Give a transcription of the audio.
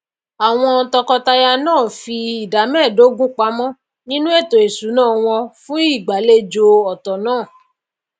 àwon toko taya náà n fi ìdá méèdógún pamó nínú ètò ìsúná won fùn ìgbàlejò òtò náà